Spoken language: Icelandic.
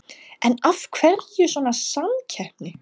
En af hverju svona samkeppni?